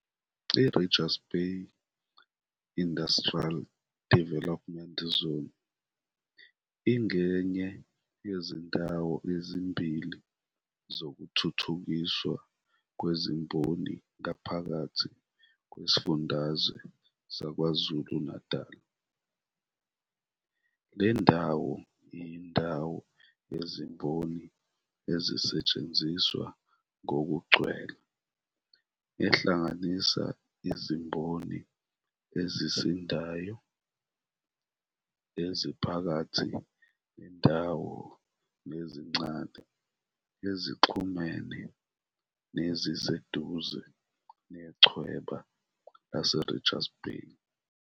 I-Richards Bay Industrial Development Zone ingenye yezindawo ezimbili zokuthuthukiswa kwezimboni ngaphakathi kwesifundazwe saKwaZulu-Natal. Le ndawo iyindawo yezimboni ezisetshenziswa ngokugcwele ehlanganisa izimboni ezisindayo, eziphakathi nendawo nezincane ezixhumene neziseduze nechweba laseRichards Bay.